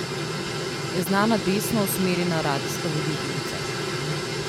Je znana desno usmerjena radijska voditeljica.